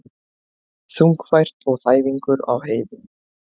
Þungfært og þæfingur á heiðum